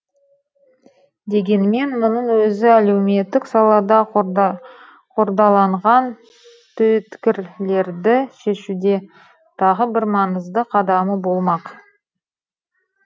дегенмен мұның өзі әлеуметтік салада қордаланған түйткілерді шешуде тағы бір маңызды қадамы болмақ